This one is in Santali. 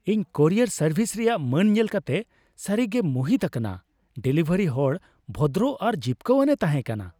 ᱤᱧ ᱠᱩᱨᱤᱭᱟᱨ ᱥᱟᱨᱵᱷᱤᱥ ᱨᱮᱭᱟᱜ ᱢᱟᱹᱱ ᱧᱮᱞ ᱠᱟᱛᱮ ᱥᱟᱹᱨᱤ ᱜᱤᱧ ᱢᱩᱦᱤᱛ ᱟᱠᱟᱱᱟ ᱾ ᱰᱮᱞᱤᱵᱷᱟᱨᱤ ᱦᱚᱲ ᱵᱷᱚᱫᱨᱚ ᱟᱨ ᱡᱤᱯᱠᱟᱹᱣᱟᱱᱮ ᱛᱟᱦᱮᱸ ᱠᱟᱱᱟ ᱾